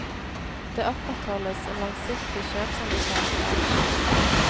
Det opprettholdes en langsiktig kjøpsanbefaling på aksjen.